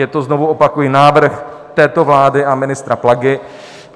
Je to, znovu opakuji, návrh této vlády a ministra Plagy.